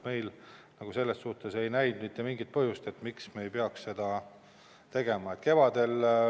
Me selles suhtes ei näinud mitte mingit põhjust, miks me ei peaks seda tegema.